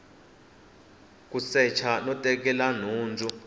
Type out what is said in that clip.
ku secha no tekela nhundzu